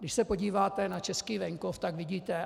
Když se podíváte na český venkov, tak vidíte.